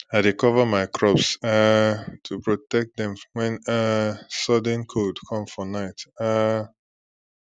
i dey cover my crops um to protect dem when um sudden cold come for night um